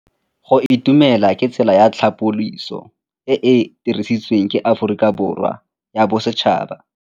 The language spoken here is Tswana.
Go itumela ke tsela ya tlhapolisô e e dirisitsweng ke Aforika Borwa ya Bosetšhaba.